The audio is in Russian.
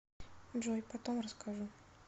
джой потом расскажу